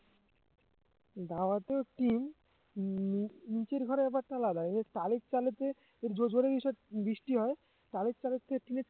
ধাবার তো টিন নি~ নিচের ঘরের ব্যাপারটা আলাদা এসব টালির চালেতে জো~ জোরে বৃষ~ বৃষ্টি হয় টালির চালের থেকে টিনের